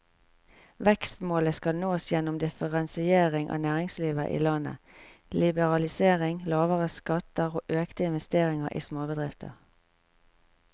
Vekstmålet skal nås gjennom differensiering av næringslivet i landet, liberalisering, lavere skatter og økte investeringer i småbedrifter.